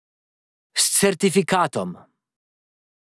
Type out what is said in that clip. S certifikatom.